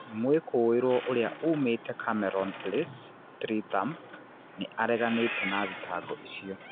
Mwikuirwo, ũrĩa uumĩte Cameron Place, Streatham, nĩ areganĩte na thitango icio.